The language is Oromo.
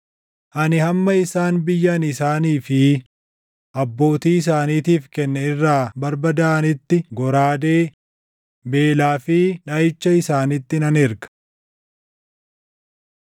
Ani hamma isaan biyya ani isaanii fi abbootii isaaniitiif kenne irraa barbadaaʼanitti goraadee, beelaa fi dhaʼicha isaanitti nan erga.’ ”